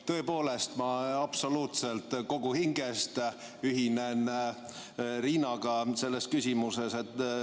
Tõepoolest, ma absoluutselt kogu hingest ühinen Riinaga selles küsimuses.